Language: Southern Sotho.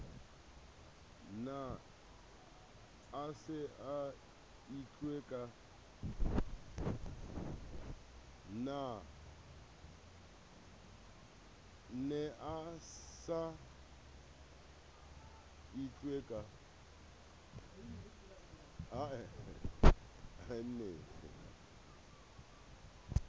ne a sa itlwe ka